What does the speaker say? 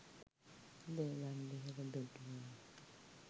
Devram Vehera දුටුවා.